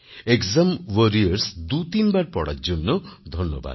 exam Warriors দুতিনবার পড়ার জন্য ধন্যবাদ